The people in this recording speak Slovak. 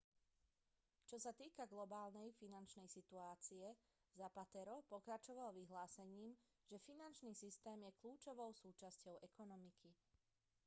čo sa týka globálnej finančnej situácie zapatero pokračoval vyhlásením že finančný systém je kľúčovou súčasťou ekonomiky